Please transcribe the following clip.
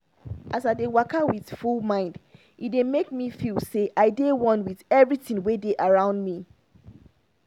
as i dey waka with full mind e dey make me feel say i dey one with everything wey dey around me